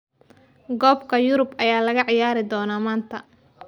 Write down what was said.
Koobka Yurub ayaa la ciyaari doonaa maanta